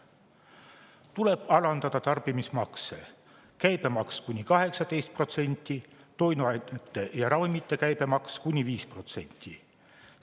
Tuleb alandada tarbimismakse: käibemaks kuni 18%, toiduainete ja ravimite käibemaks kuni 5%.